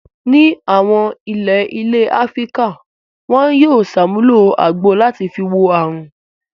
Ní àwọn ilé ilẹ̀ Áfíríkà wọn yóò ṣàmúlò àgbo làti fi wo àrùn.